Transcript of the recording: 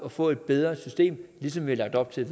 at få et bedre system ligesom vi har lagt op til